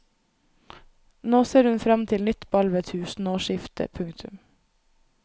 Nå ser hun frem til nytt ball ved tusenårsskiftet. punktum